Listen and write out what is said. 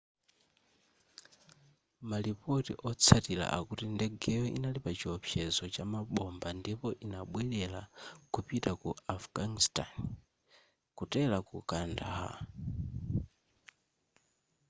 malipoti otsatira akuti ndegeyo inali pachiwopsezo cha mabomba ndipo inabwelera kupita ku afghanistan kutera ku kandahar